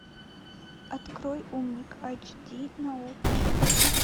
открой умник айч ди на окко